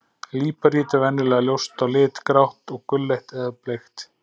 Líparít er venjulega ljóst á lit, grátt, gulleit eða bleikt.